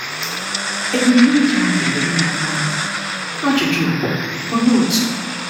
Ebumnuche ahụ dị mma, ma ajụjụ bụ, Olee otu?